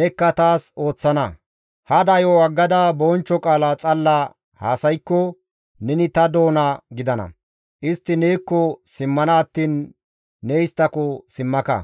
nekka taas ooththana. Hada yo7o aggada bonchcho qaala xalla haasaykko neni ta doona gidana. Istti neekko simmana attiin ne isttako simmaka.